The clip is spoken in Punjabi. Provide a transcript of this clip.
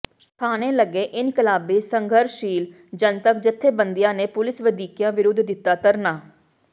ਥਾਣੇ ਅੱਗੇ ਇਨਕਲਾਬੀ ਸੰਘਰਸ਼ੀਲ ਜਨਤਕ ਜਥੇਬੰਦੀਆਂ ਨੇ ਪੁਲਿਸ ਵਧੀਕੀਆਂ ਵਿਰੁੱਧ ਦਿੱਤਾ ਧਰਨਾ